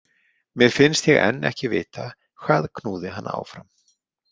Mér finnst ég enn ekki vita hvað knúði hana áfram.